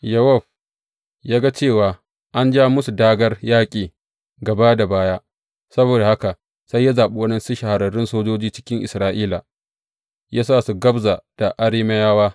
Yowab ya ga cewa an ja masa dāgār yaƙi gaba da baya; saboda haka sai ya zaɓi waɗansu shahararrun sojoji cikin Isra’ila, ya sa su gabza da Arameyawa.